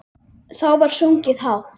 Þá var sungið hátt.